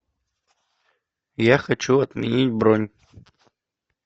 я хочу отменить бронь